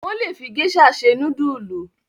Wọ́n le fi géíṣà se núdúlù.